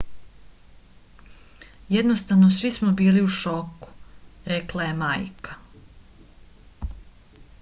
jednostavno svi smo bili u šoku rekla je majka